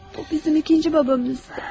O bizim ikinci atamız idi.